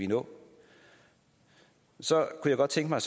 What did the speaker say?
nå så jeg kunne godt tænke mig